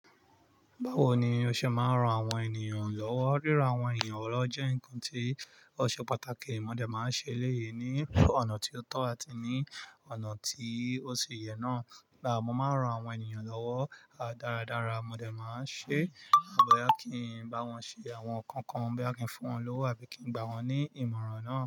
Báwo ni o ṣe máa ń ran àwọn ènìyàn lọ́wọ́? Ríran àwọn èeyan lọ́wọ́ jẹ́ nǹkan tí ọ̀ṣe pàtàkì mo de máa ń ṣe léyè ní ọ̀nà ti o tọ́ àti ní ọ̀nà tí ó ṣe yẹ náà. Gba mo máa ń ran àwọn ènìyàn lọ́wọ́ dáradára, mo de máa ń ṣe. Àbọ̀ yá kí n bá wọn ṣe àwọn nǹkan kan, bí à kí ń fún wọn lọ́wọ́ àbí kí ń gbà wọ́n ní ìmọ̀ràn náà.